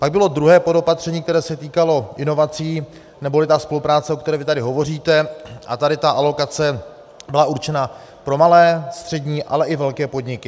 Pak bylo druhé podopatření, které se týkalo inovací, neboli ta spolupráce, o které vy tady hovoříte, a tady ta alokace byla určena pro malé, střední, ale i velké podniky.